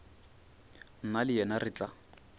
nna le yena re tla